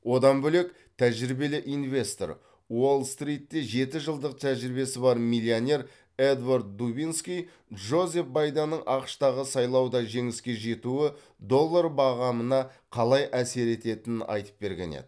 одан бөлек тәжірибелі инвестор уолл стритте жеті жылдық тәжірибесі бар миллионер эдвард дубинский джозеф байденнің ақш тағы сайлауда жеңіске жетуі доллар бағамына қалай әсер ететінін айтып берген еді